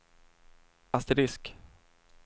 asterisk